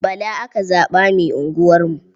Bala aka zaɓa mai unguwarmu.